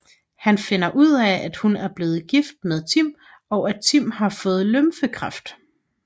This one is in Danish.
Han finder ud af at hun er blevet gift med Tim og at Tim har fået lymfekræft